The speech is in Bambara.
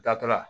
Datola